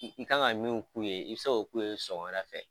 I kan ka min k'u ye i bɛse k'o k'u ye sɔgɔmada fɛ